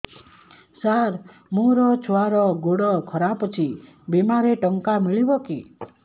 ସାର ମୋର ଛୁଆର ଗୋଡ ଖରାପ ଅଛି ବିମାରେ ଟଙ୍କା ମିଳିବ କି